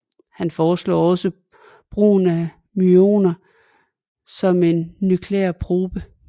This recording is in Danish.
Han foreslog også brugen af myoner som en nuklear probe